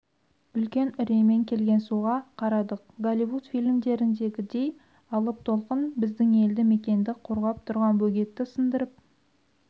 үлкен үреймен келген суға қарадық голливуд фильмдеріндегідей алып толқын біздің елді мекенді қорғап тұрған бөгетті сындырып